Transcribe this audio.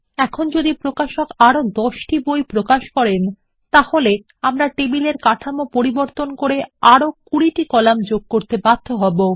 এখন যদি প্রকাশক আরো দশটি বই প্রকাশ করেন তাহলে আমরা টেবিলের কাঠামো পরিবর্তন করে আরো ২০ টি কলাম যোগ করতে বাধ্য হব